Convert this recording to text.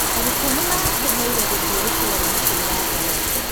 Arutwo nĩmarakenire gũthiĩ gĩchũa-inĩ kwĩgangara.